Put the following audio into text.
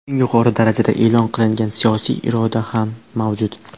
Eng yuqori darajada e’lon qilingan siyosiy iroda ham mavjud.